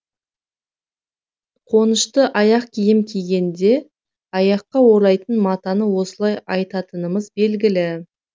қонышты аяқ киім кигенде аяққа орайтын матаны осылай айтатынымыз белгілі